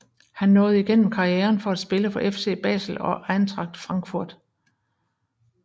Han nåede igennem karrieren at spille for FC Basel og Eintracht Frankfurt